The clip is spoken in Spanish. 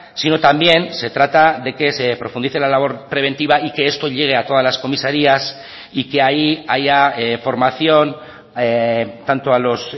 sino también se trata de que se profundice la labor preventiva y que esto llegue a todas las comisarías y que ahí haya formación tanto a los